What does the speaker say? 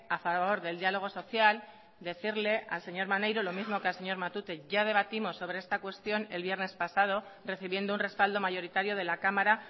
a favor del diálogo social decirle al señor maneiro lo mismo que al señor matute ya debatimos sobre esta cuestión el viernes pasado recibiendo un respaldo mayoritario de la cámara